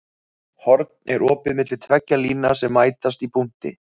Horn er opið milli tveggja lína sem mætast í punkti.